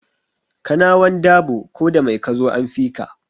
Kanawan dabo ko da mai kazo an fika